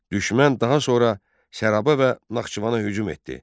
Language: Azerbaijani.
Düşmən daha sonra Səraba və Naxçıvana hücum etdi.